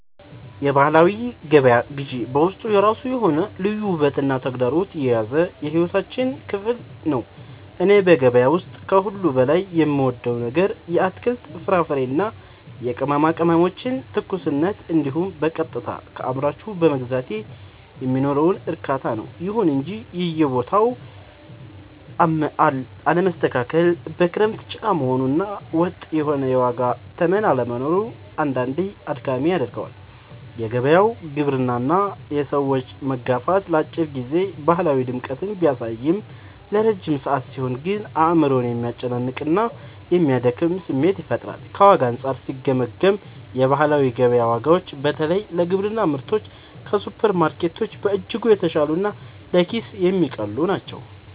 የባህላዊ ገበያ ግዢ በውስጡ የራሱ የሆነ ልዩ ውበትና ተግዳሮት የያዘ የሕይወታችን ክፍል ነው። እኔ በገበያ ውስጥ ከሁሉ በላይ የምወደው ነገር የአትክልት፣ የፍራፍሬና የቅመማ ቅመሞችን ትኩስነት እንዲሁም በቀጥታ ከአምራቹ በመግዛቴ የሚኖረውን እርካታ ነው። ይሁን እንጂ የቦታው አለመስተካከል፣ በክረምት ጭቃ መሆኑ እና ወጥ የሆነ የዋጋ ተመን አለመኖሩ አንዳንዴ አድካሚ ያደርገዋል። የገበያው ግርግርና የሰዎች መጋፋት ለአጭር ጊዜ ባህላዊ ድምቀትን ቢያሳይም፣ ለረጅም ሰዓት ሲሆን ግን አእምሮን የሚያስጨንቅና የሚያደክም ስሜት ይፈጥራል። ከዋጋ አንጻር ሲገመገም፣ የባህላዊ ገበያ ዋጋዎች በተለይ ለግብርና ምርቶች ከሱፐርማርኬቶች በእጅጉ የተሻሉና ለኪስ የሚቀልሉ ናቸው።